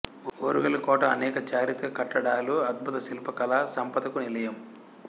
ఓరుగల్లు కోట అనేక చారిత్రక కట్టడాలు అద్భుత శిల్పకళా సంపదకు నిలయం